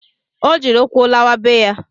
Ọ jiri ụkwụ lawa be ya